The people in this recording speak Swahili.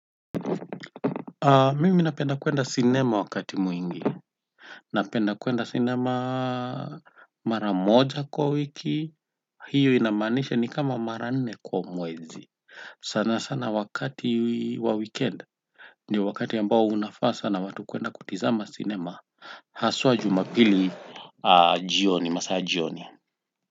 Mimi napenda kuenda sinema wakati mwingi. Napenda kuenda sinema mara moja kwa wiki, hiyo inamaanisha ni kama mara nne kwa mwezi. Sana sana wakati wa weekend ni wakati ambao unafaa sana watu kuenda kutizama sinema. Haswa Jumapili jioni, masaa ya jioni.